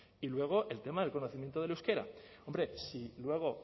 y luego el tema del conocimiento del euskera hombre si luego